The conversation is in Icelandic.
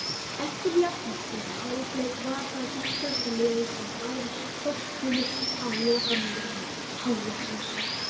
Eftir jafnan fyrri hálfleik var það íslenska liðið sem náði forystunni á lokamínútu hálfleiksins.